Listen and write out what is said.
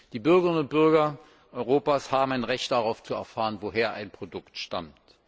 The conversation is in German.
Die Bürgerinnen und Bürger Europas haben ein Recht darauf zu erfahren, woher ein Produkt stammt.